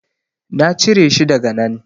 Na cire shi daga nan.